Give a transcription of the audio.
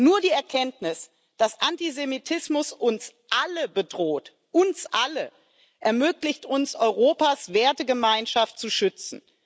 Nur die Erkenntnis, dass Antisemitismus uns alle bedroht uns alle ermöglicht es uns, Europas Wertegemeinschaft zu schützen.